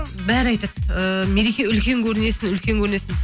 бәрі айтады ыыы мереке үлкен көрінесің үлкен көрінесің